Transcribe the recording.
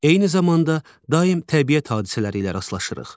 Eyni zamanda daim təbiət hadisələri ilə rastlaşırıq.